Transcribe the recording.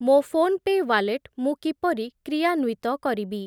ମୋ ଫୋନ୍‌ପେ' ୱାଲେଟ୍ ମୁଁ କିପରି କ୍ରିୟାନ୍ଵିତ କରିବି?